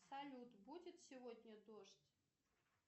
салют будет сегодня дождь